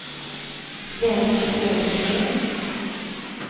Jenny Södergren